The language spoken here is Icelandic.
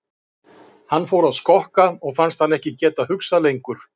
Hann fór að skokka og fannst hann ekki geta hugsað lengur.